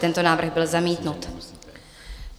Tento návrh byl zamítnut.